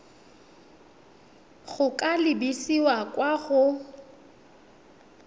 go ka lebisa kwa go